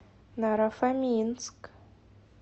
наро фоминск